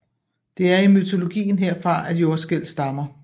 Det er i mytologien herfra at jordskælv stammer